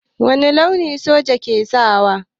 Wani launi ne soja ke sawa?